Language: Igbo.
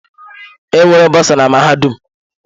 Enwere bosa na mahadum.